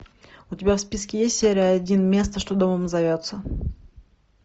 у тебя в списке есть серия один место что домом зовется